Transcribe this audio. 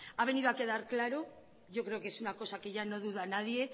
ha venido a quedar claro yo creo que es una cosa que ya no duda nadie